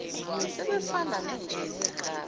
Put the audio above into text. sebefana nenja nekati